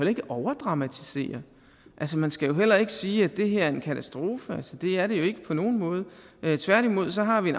ikke overdramatisere altså man skal heller ikke sige at det her er en katastrofe det er det jo ikke på nogen måde tværtimod har vi